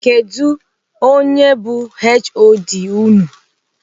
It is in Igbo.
Kedụ onye bụ HOD unu?